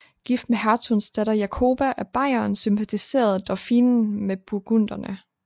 Gift med hertugens datter Jakoba af Bayern sympatiserede Dauphinen med burgunderne